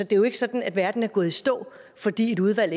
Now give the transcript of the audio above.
det er jo ikke sådan at verden er gået i stå fordi et udvalg